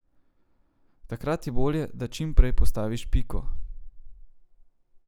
Takrat je bolje, da čim prej postaviš piko.